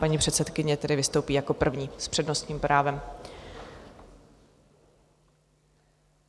Paní předsedkyně tedy vystoupí jako první s přednostním právem.